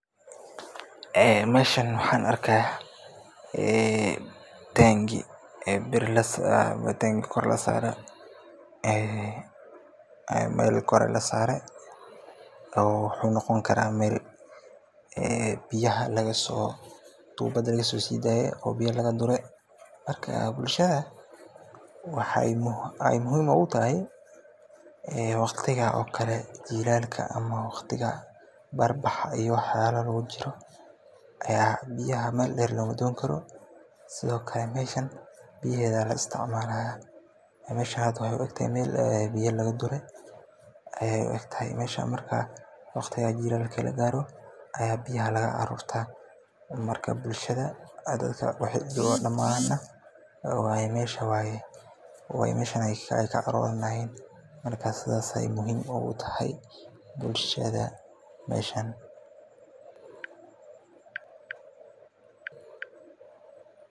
Meeshan waxaan arkaaya tangi kor lasaare, meel kore lasaare, wuxuu noqon karaa meel biya laga dure, bulshada waxaay muhiim oogu tahay waqtiga jilaalka biyaheeda ayaa la isticmaalaya, marka bulshada damaan meeshan ayaay ka arooranauaan, saas ayeey muhiim oogu tahay bulshada meeshan.